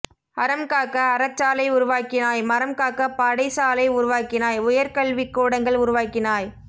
அறம் காக்க அறச் சாலை உருவாக்கினாய் மரம் காக்க படை சாலை உருவாக்கினாய் உயர் கல்விக் கூடங்கள் உருவாக்கினாய்